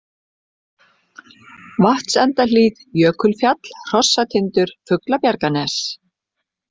Vatnsendahlíð, Jökulfjall, Hrossatindur, Fuglabjarganes